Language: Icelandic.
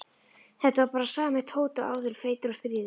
Þetta var bara sami Tóti og áður, feitur og stríðinn.